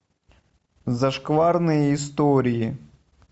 зашкварные истории